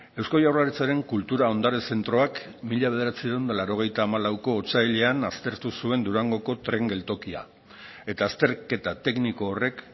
eusko jaurlaritzaren kultura ondare zentroak mila bederatziehun eta laurogeita hamalauko otsailean aztertu zuen durangoko tren geltokia eta azterketa tekniko horrek